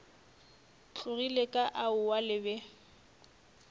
tlogile ka aowa le be